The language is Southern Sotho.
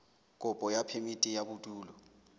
kopo ya phemiti ya bodulo